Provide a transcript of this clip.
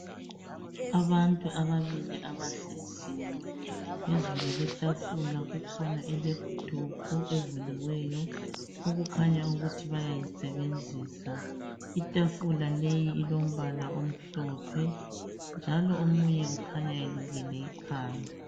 Abantu ababili abahleziyo phezulu kwetafula kukhona i laptop evuliweyo okukhanya ukuthi bayayisebenzisa itafula leyi ilombala omhlophe njalo omunye ukhanya elukile ikhanda